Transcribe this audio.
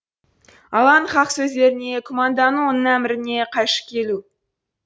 алланың хақ сөздеріне күмәндану оның әміріне қайшы келу